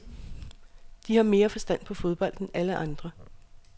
De har mere forstand på fodbold end alle andre.